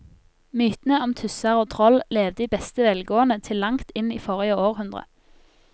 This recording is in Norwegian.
Mytene om tusser og troll levde i beste velgående til langt inn i forrige århundre.